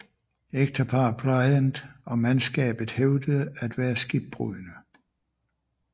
Ægteparret Bryant og mandskabet hævdede at være skibbrudne